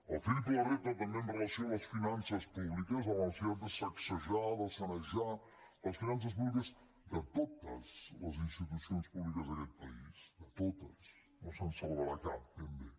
el triple repte també amb relació a les finances públiques a la necessitat de sacsejar de sanejar les finances públiques de totes les institucions públiques d’aquest país de totes no se’n salvarà cap ben bé